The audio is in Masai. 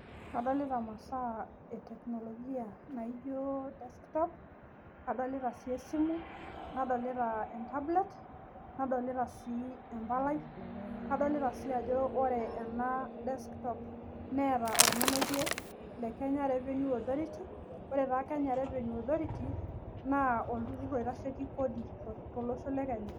Kadoli imasaa e teknologia naijo desktop kadolita sii esimu nadolita e tablet nadolita sii embalai, nadolita sii ajo ore ena desktop neeta ormonokie Le KRA, ore taa KRA naa oltururr oitasheki Kodi tolosho Le kenya